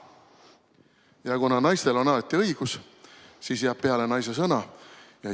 Ja kuna naistel on alati õigus, siis jääb peale naise sõna.